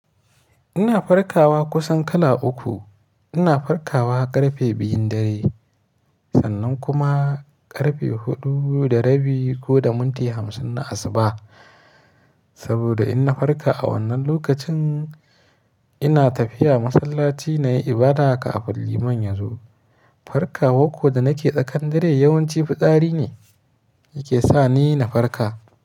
Ina farkawa kusan kala uku. Ina farkawa ƙarfe biyun dare, sannan kuma ƙarfe huɗu da rabi ko da minti hamsin na asuba. Saboda in na farka a wannan lokacin, ina tafiya masallaci na yi ibada kafin liman ya zo. Farkawa ko da na ke tsakan dare yawanci fitsari ne yake sa ni na farka.